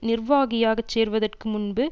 நிர்வாகியாகச் சேர்வதற்கு முன்பு